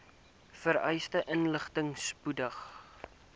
vereiste inligting spoedig